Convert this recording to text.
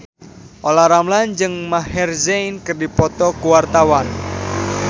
Olla Ramlan jeung Maher Zein keur dipoto ku wartawan